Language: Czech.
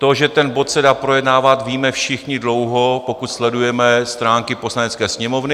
To, že ten bod se dá projednávat, víme všichni dlouho, pokud sledujeme stránky Poslanecké sněmovny.